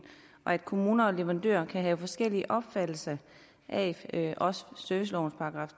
at kommuner og leverandører kan have forskellig opfattelse af servicelovens §